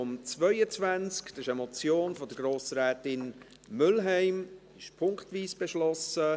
Das ist eine Motion von Grossrätin Mühlheim, diese ist punktweise beschlossen: